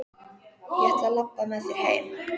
Ég ætla að labba með þér heim.